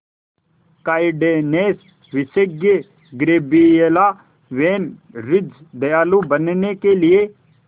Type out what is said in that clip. kindness विशेषज्ञ Gabriela van Rij दयालु बनने के लिए